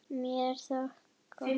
Mér þótti það gott.